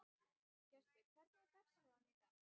Gestur, hvernig er dagskráin í dag?